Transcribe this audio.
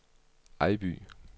Ejby